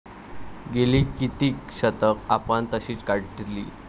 गेली कित्येक शतकं आपण तशीच काढली.